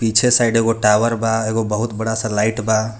पीछे साइड एगो टावर बा एगो बहुत बड़ा सा लाइट बा.